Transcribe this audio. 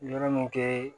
Yɔrɔ min kɛ